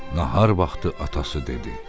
Nahar vaxtı atası dedi: